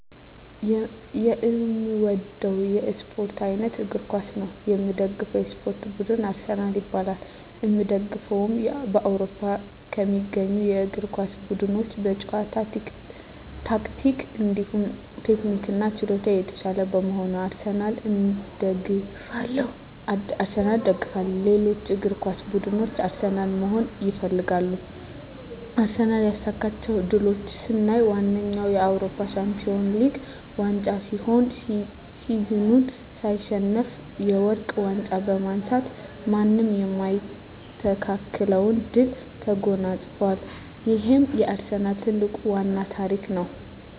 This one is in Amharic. የእምወደዉ የእስፖርት አይነት እግር ኳስ ነዉ። የምደግፈዉ የእስፖርት ቡድንም አርሰናል ይባላል። የእምደግፈዉም በአዉሮፖ ከሚገኙ የእግር ኳስ ቡድኖች በጨዋታ ታክቲክ እንዲሁም ቴክኒክና ችሎታ የታሻለ በመሆኑ አርሰናልን እደግፋለሁ። ሌሎች እግር ኳስ ብድኖች አርሰናልን መሆን ይፈልጋሉ። አርሰናል ያሳካቸዉ ድሎች ስናይ ዋነኛዉ የአዉሮፖ ሻንፒወንስ ሊግ ዋንጫ ሲሆን ሲዝኑን ሳይሸነፍ የወርቅ ዋንጫ በማንሳት ማንም የማይስተካከለዉን ድል ተጎናፅፋል ይሄም የአርሰናል ትልቁና ዋናዉ ታሪክ ነዉ።